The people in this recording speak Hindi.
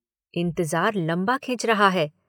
इंतजार लम्बा खिंच रहा है।